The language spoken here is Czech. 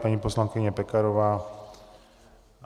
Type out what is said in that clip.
Paní poslankyně Pekarová.